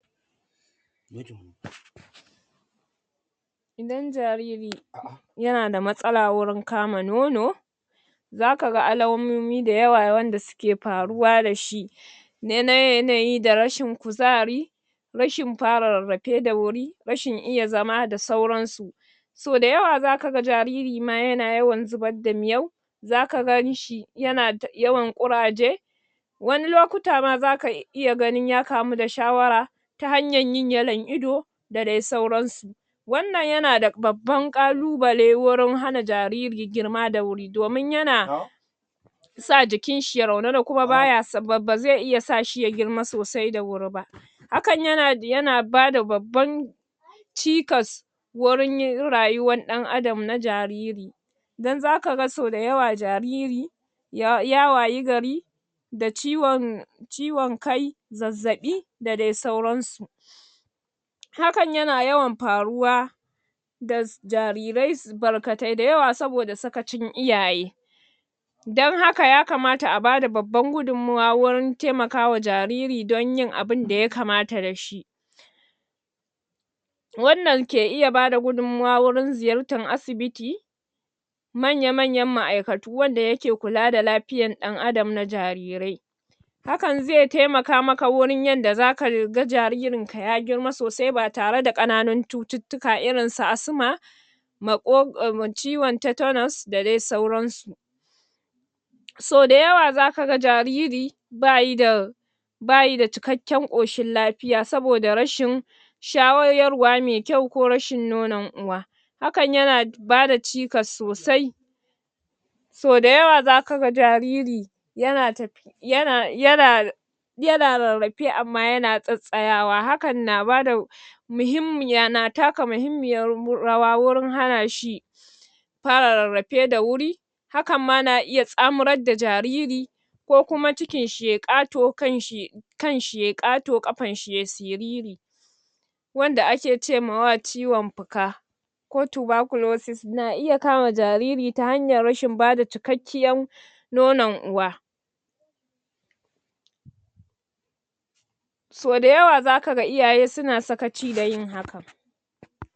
? Idan jariri,? ya na da matsala wajan kama nono,? za ka ga alamomi da yawa wanda suke faruwa da shi,? na yanayi da rashin kuzari,? rashin fara rarrafe da wuri, rashin iya zama da sauran su.? So da yawa ma zaka ga jariri ma ya na yawan zubar da miyau.? Za ka gan shi ya na yawan ƙuraje.? Wani lokuta ma zaka iya ganin ya kamu da shawara,? ta hanyar yin yallon ido,? da dai sauran su.? Wannan ya na da babban ƙalubale wurin hana jariri girma da wuri domin yana,? sa jikin shi ya raunana, kuma baya, bazai iya sa shi ya girma sosai da wuri ba,? hakan ya na bada babban,? cikas,? wurin yin rayuwar ɗan Adam na jariri.? Dan zakaga so da yawa jariri,? ya wayi gari,? da ciwon, ciwon kai zazzabi da dai sauransu.? Hakan ya na yawan faruwa,? da jarirai barkatai da yawa saboda da sakacin iyaye.? Don haka ya kamata a bada babban gudumuwa wurin taimaka wa jariri don yin abunda ya kamata da shi.? Wannan ke iya bada gudummuwa wajan ziyarta asibiti,? manya-manyan ma'aikatu wanda ya ke kula da lafiyar ɗan adam na jarirrai.? Hakan zai taimaka maka wurin yanda zaka ga jaririn ka ya girma sosai batare da ƙananun cututtuka irin su asma,? mako, ciwon tetanus da dai sauran su.? So da yawa zaka ga jariri, ba yi da,? ba yi da cikakken ƙushin lafiya, saboda rashin,? shayarwa mai ƙyau ko rashin nonon uwa.? Hakan ya na bada cikas sosai.? So da yawa za ka ga jariri,? ya na tafi,? ya na, ya na,? ya na rarrafe amma ya na tsatstsayawa, hakan na bada,? muhimmiya, na taka muhimmiyar rawa wurin hana shi,? fara rarrafe da wuri,? hakan ma na iya tsamurar da jariri,? kokuma cikin shi yayi ƙato, kan shi ya,? kan shi ya yi ƙato ƙafar shi ya yi siriri,? wanda a ke ce mawa ciwon fuka,? ko tuberculosis na iya kama jariri ta hanyar rashin bada cikakkiyar,? nonon uwa.? So da yawa zaka ga iyaye su na sakaci dayin hakan.